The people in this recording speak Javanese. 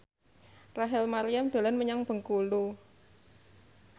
Rachel Maryam dolan menyang Bengkulu